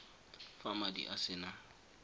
fa madi a se na